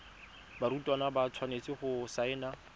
barutwana ba tshwanetse go saena